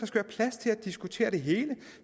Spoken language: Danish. diskutere det hele